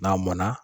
N'a mɔnna